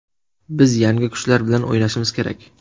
Biz yangi kuchlar bilan o‘ynashimiz kerak.